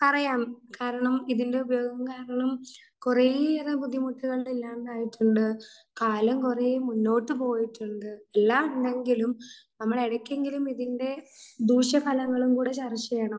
അറിയാം കാരണം ഇതിൻറെ ഉപയോഗം കാരണം കുറെയേറെ ബുദ്ധിമുട്ടുകൾ ഉണ്ടായിട്ടുണ്ട് കാലം കുറെ മുന്നോട്ടു പോയിട്ടുണ്ട് എല്ലാം ഉണ്ടെങ്കിലും നമ്മൾ ഇടയ്ക്കെങ്കിലും ഇതിൻറെ ദൂഷ്യ ഫലങ്ങളും കൂടെ ചർച്ച ചെയ്യണം.